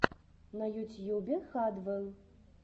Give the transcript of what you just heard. на ютьюбе хадвел